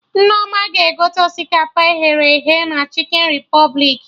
Nneoma ga-egote osikapa e ghere eghe na Chikin Repụblik